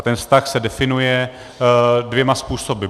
A ten vztah se definuje dvěma způsoby.